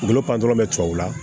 U bolo pan dɔrɔn bɛ tubabu la